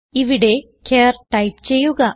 ഇവിടെ char type ചെയ്യുക